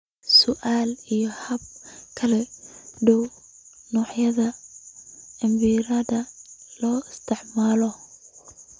Su'aalo iyo habab kala duwan, noocyada cabbirada la isticmaalo